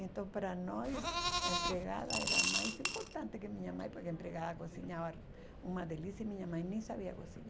Então, para nós, a empregada era mais importante que minha mãe, porque a empregada cozinhava uma delícia e minha mãe nem sabia cozinhar.